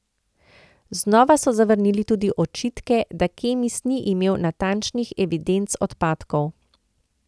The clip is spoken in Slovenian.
Znova so zavrnili tudi očitke, da Kemis ni imel natančnih evidenc odpadkov.